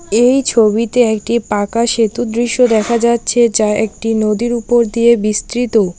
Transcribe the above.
এই ছবিতে একটি পাকা সেতুর দৃশ্য দেখা যাচ্ছে যা একটি নদীর উপর দিয়ে বিস্তৃত।